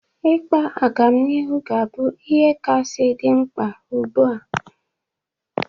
Ịkpa agamnihu ga-abụ ihe kasị dị mkpa ugbu a.